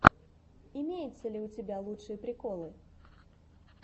имеется ли у тебя лучшие приколы